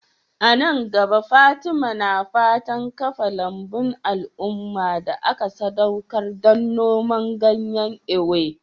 A nan gaba, Fatima na fatan kafa lambun al'umma da aka sadaukar don noman ganyen Ewe.